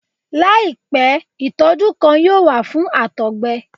Laipẹ itọju kan yoo wa fun àtọgbẹ